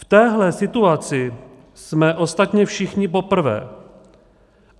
V téhle situaci jsme ostatně všichni poprvé.